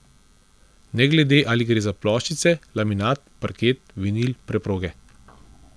Ne glede ali gre za ploščice, laminat, parket, vinil, preproge.